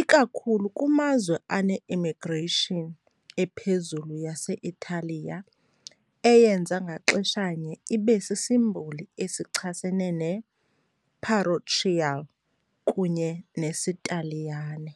ikakhulu kumazwe ane-imigration ephezulu yase-Italiya, eyenza ngaxeshanye ibe sisimboli esichasene ne-parochial kunye nesiTaliyane.